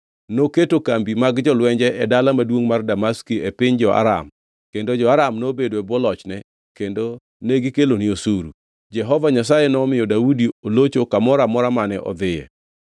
Noketo kambi mag jolwenje e dala maduongʼ mar Damaski e piny jo-Aram kendo jo-Aram nobedo e bwo lochne kendo negikelone osuru. Jehova Nyasaye nomiyo Daudi olocho kamoro amora mane odhiye.